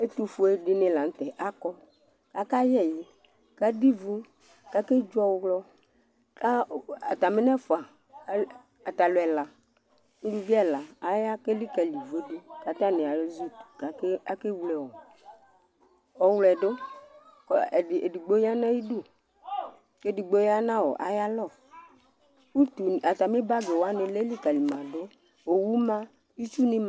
Ɛtuƒue dìŋí la ŋtɛ akɔ akayɛ ɛwu kʋ aɖu ivu kʋ akedzo ɔwlɔ Atami ŋu ɛfʋa, atalu ɛla, ʋlʋvi ɛla Aya kʋ elikali ivʋe ɖu Ataŋi ezikʋti kʋ akewle ɔwlɔɛ ɖu Ɛɖigbo yaŋʋ ayʋ iɖu kʋ ɛɖigbo ya ŋu ayʋ alɔ Atami bag waŋi aya lɛ likalìmaɖʋ Owu ma, itsu ŋi ma